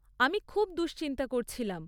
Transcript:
আমি খুব দুশ্চিন্তা করছিলাম।